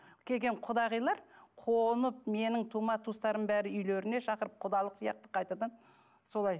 келген құдағилар қонып менің тума туыстарымның бәрі үйлеріне шақырып құдалық сияқты қайтадан солай